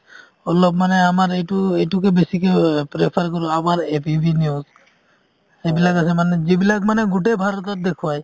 অলপ মানে আমাৰ এইটো এইটোকে বেচিকে prefer কৰো আমাৰ AVP news এইবিলাক আছে মানে যিবিলাক মানে গোটেই ভাৰতবৰ্ষত দেখুৱাই ।